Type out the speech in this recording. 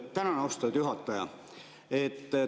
Tänan, austatud juhataja!